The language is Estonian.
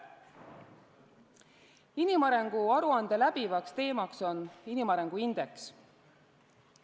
Inimarengu aruande läbiv teema on inimarengu indeks.